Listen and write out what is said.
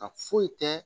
A foyi tɛ